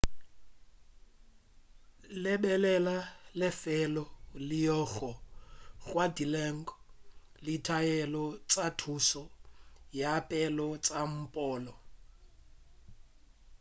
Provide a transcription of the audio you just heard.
lebelela lefelo leo go ngwadilwego ditaelo tša thušo ya pele tša mpholo